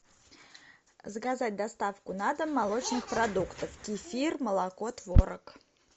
заказать доставку на дом молочных продуктов кефир молоко творог